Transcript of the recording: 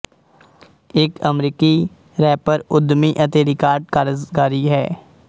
ਇੱਕ ਅਮਰੀਕੀ ਰੈਪਰ ਉੱਦਮੀ ਅਤੇ ਰਿਕਾਰਡ ਕਾਰਜਕਾਰੀ ਹੈ